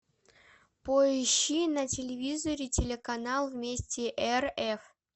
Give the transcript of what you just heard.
поищи на телевизоре телеканал вместе рф